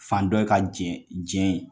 Fandɔ ye ka jɛn jɛn ye